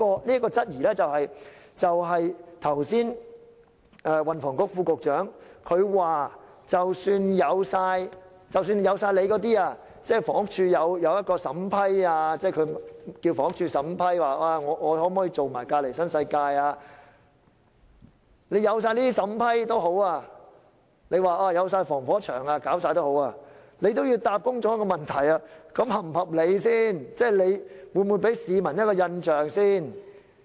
即使如運輸及房屋局副局長剛才所說，由房屋署審批奧雅納可否承接旁邊的新世界項目，有防火牆，政府也要回答公眾一個問題：這是否合理？會給市民甚麼印象？